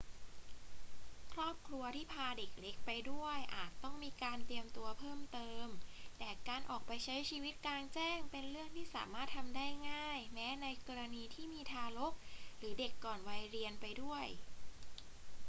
ครอบครัวที่พาเด็กเล็กไปด้วยอาจต้องมีการเตรียมตัวเพิ่มเติม แต่การออกไปใช้ชีวิตกลางแจ้งเป็นเรื่องที่สามารถทำได้ง่ายแม้ในกรณีที่มีทารกหรือเด็กก่อนวัยเรียนไปด้วย